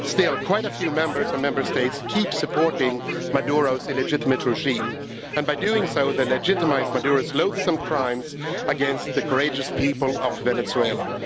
Still, quite a few Members and Member States keep supporting Maduro's illegitimate regime, and by doing so they legitimise Maduro's loathsome crimes against the courageous people of Venezuela.